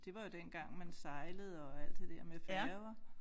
Det var jo dengang man sejlede og alt det der med færger